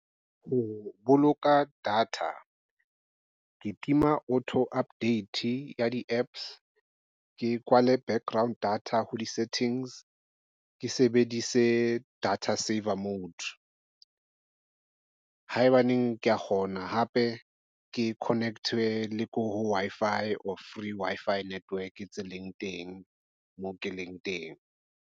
Ho boloka data ke tima auto update ya di-apps ke kwale background data ho di-settings ke sebedise data saver mode haebaneng kea kgona hape ke connect-e le ko Wi-Fi or free Wi-Fi network tse leng teng moo ke leng teng.